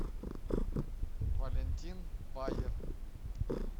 валентин баер